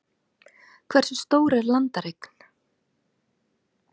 Hversu stór er landareign?